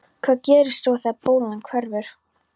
Hvað gerist svo þegar bólan hverfur?